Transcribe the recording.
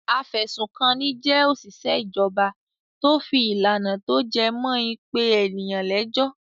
Afẹ̀sùnkanni jẹ́ òṣìṣẹ́ ìjọba tó fi ìlànà tó jẹ mó in pé ènìyàn lẹ́jọ́.